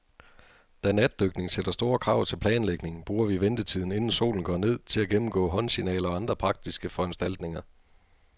Da natdykning sætter store krav til planlægning, bruger vi ventetiden, inden solen går ned, til at gennemgå håndsignaler og andre praktiske foranstaltninger.